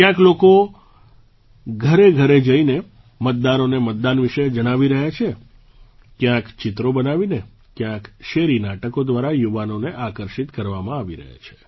ક્યાંક લોકો ઘરેઘરે જઈને મતદારોને મતદાન વિશે જણાવી રહ્યા છે ક્યાંક ચિત્રો બનાવીને ક્યાંક શેરી નાટકો દ્વારા યુવાનોને આકર્ષિત કરવામાં આવી રહ્યા છે